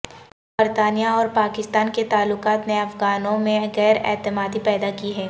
برطانیہ اور پاکستان کے تعلقات نے افغانوں میں غیراعتمادی پیدا کی ہے